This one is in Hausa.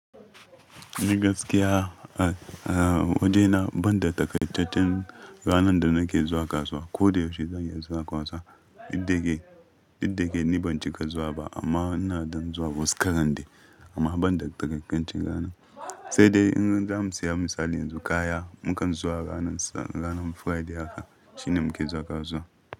Ni gaskiya, a waje na ban da takaitaccen ranar da nake zuwa kasuwa. Ko da yaushe zan iya zuwa kasuwa idan ke, idan ke ni ban cika zuwa ba amma ina don zuwa wuskaran dai. Amma ban da takaitaccen rana. Sai dai in zamu saya misali yanzu kaya, mu kan zuwa ranar ranar Friday haka shine muke zuwa kasuwa.